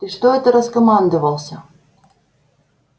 ты что это раскомандовался